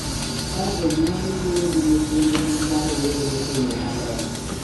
Ka jonyuol wuoyo gi nyithindgi ma rowere e yo maler,